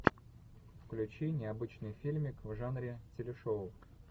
включи необычный фильмик в жанре телешоу